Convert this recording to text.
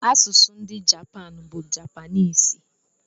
Asụsụ ndị Japan bụ Japanịịs.